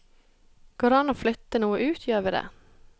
Går det an å flytte noe ut, gjør vi det.